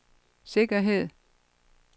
sikkerhed